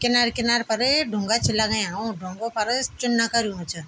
किनर किनर फर ढुंगा छ लगयां उ ढुंगु पर चुना कर्युं च।